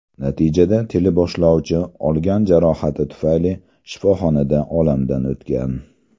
Natijada teleboshlovchi olgan jarohati tufayli shifoxonada olamdan o‘tgan.